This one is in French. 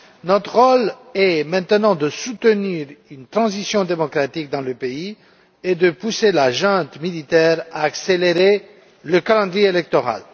Notre rôle est maintenant de soutenir une transition démocratique dans le pays et de pousser la junte militaire à accélérer le calendrier électoral.